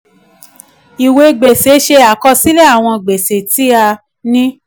ìwé gbèsè ṣe àkọsílẹ̀ àwọn gbèsè tí a ní.